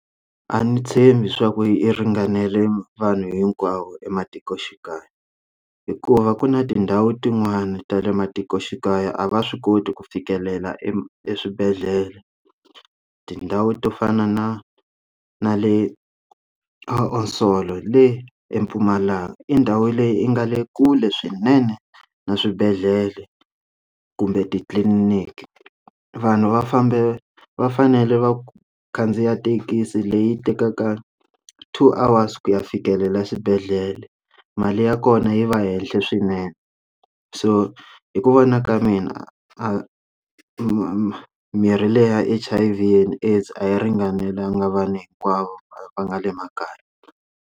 A ndzi tshembi swa ku i ringanele vanhu hinkwavo ematikoxikaya hikuva ku na tindhawu tin'wani ta le matikoxikaya a va swi koti ku fikelela e eswibedhlele tindhawu to fana na na le Asoul le eMpumalanga i ndhawu leyi yi nga le kule swinene na swibedhlele kumbe titliliniki vanhu va fambe va fanele va khandziya thekisi leyi tekaka two hours ku ya fikelela swibedhlele mali ya kona yi va ehenhla swinene so hi ku vona ka mina a mi mirhi leyi ya H_I_V and AIDS a yi ringanelanga vana hinkwavo va nga le makaya.